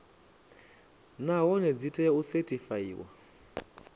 nahone dzi tea u sethifaiwa